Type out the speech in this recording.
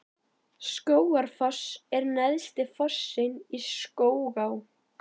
Skógafoss er neðsti fossinn í Skógaá.